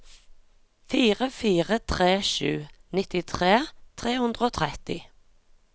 fire fire tre sju nittitre tre hundre og tretti